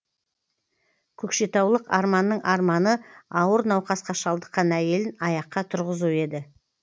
көкшетаулық арманның арманы ауыр науқасқа шалдыққан әйелін аяққа тұрғызу еді